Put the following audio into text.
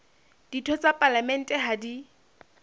ditho tsa palamente ha di